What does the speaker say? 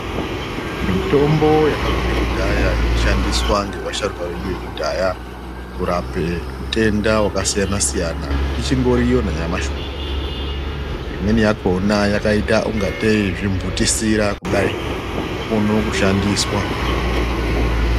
Mitombo yakabvire kudhaya yeishandiswa ngeasharuka edu ekudhaya kurapa utenda wakasiyana siyana ichindiriyo nanyamashi unowu imweni yakhona yakaita ungatei zvimphutisira kudai zvinokone kushandiswa.